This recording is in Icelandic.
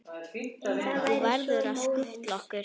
Þú verður að skutla okkur.